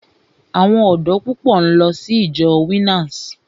Àwọn ọ̀dọ́ púpọ̀ ń lọ sí ìjọ Winners.